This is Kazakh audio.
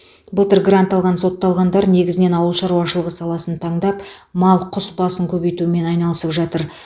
былтыр грант алған сотталғандар негізінен ауыл шаруашылығы саласын таңдап мал құс басын көбейтумен айналысып жатыр